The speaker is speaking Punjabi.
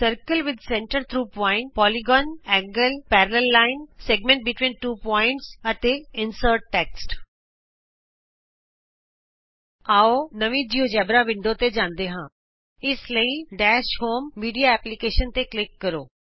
circle with centre through point polygon ਕੋਣ ਸਮਾਂਤਰ ਰੇਖਾ ਦੋ ਬਿੰਦੂਆਂ ਵਿਚ ਖੰਡ ਅਤੇ ਟੈਕਸਟ ਇੰਸਰਟ ਕਰਨਾ ਆਉ ਨਵੀਂ ਜਿਉਜੇਬਰਾ ਵਿੰਡੋ ਤੇ ਜਾਂਦੇ ਹਾਂ ਇਸ ਲਈ ਡੈਸ਼ ਹੋਮ ਮੀਡਿਆ ਐਪਲੀਕੇਸ਼ਨਜ਼ ਤੇ ਕਲਿਕ ਕਰੋ